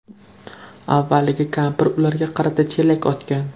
Avvaliga kampir ularga qarata chelak otgan.